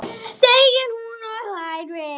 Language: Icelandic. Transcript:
segir hún og hlær við.